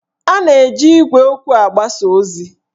A na-eji igwe okwu agbasa ozi